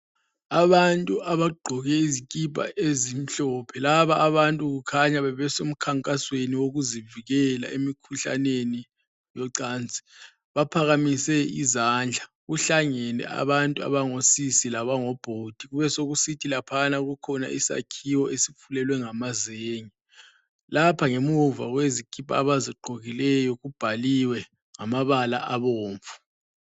Abantu abagqoke izikipa ezimhlophe laba abantu kukhanya bebesemkhankasweni yokuzivikela emkhuhlaneni yocansi. Baphakamise izandla. Kuhlangane abantu abangosisi labobhudi. Kube sokusithi laphana kukhona isakhiwo esikhulu esifulelwe ngamazenge. Lapha ngemuva kwezikipa abazigqokileyo kubhaliwe ngamabala abomvu.